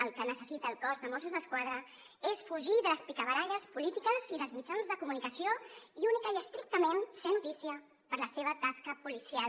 el que necessita el cos de mossos d’esquadra és fugir de les picabaralles polítiques i dels mitjans de comunicació i únicament i estrictament ser notícia per la seva tasca policial